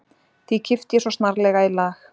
Því kippti ég svo snarlega í lag